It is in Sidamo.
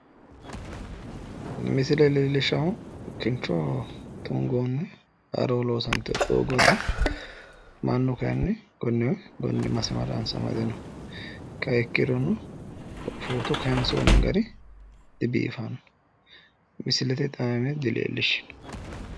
Misile leellishaahu kincho tungoonni haaro loosantino doogooti. Mannu kaayinni konne masimaranssa amade no. kayiinni ikkirono footo kaayiinsoonni gari dibiifanno. Misilete xaaime dileellishshanno.